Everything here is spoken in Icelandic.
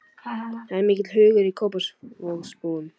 Það er mikill hugur í Kópavogsbúum.